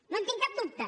no en tinc cap dubte